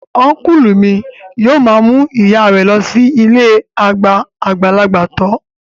Ọ́nkùlù mi yóò ma mú ìyáa rẹ lọ sí ilée àgbà àgbàlagbà tọ́